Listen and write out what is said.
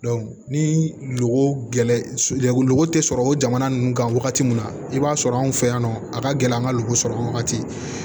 ni loko gɛlɛn logo tɛ sɔrɔ o jamana ninnu kan wagati min na i b'a sɔrɔ anw fɛ yan nɔ a ka gɛlɛn an ka loko sɔrɔ wagati